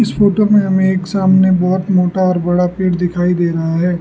Photo में हमें एक सामने बहोत मोटा और बड़ा पेड़ दिखाई दे रहा है।